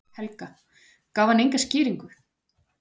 Helga: Gaf hann enga skýringu?